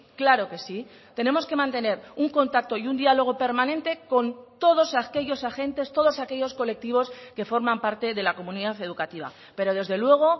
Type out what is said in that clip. claro que sí tenemos que mantener un contacto y un diálogo permanente con todos aquellos agentes todos aquellos colectivos que forman parte de la comunidad educativa pero desde luego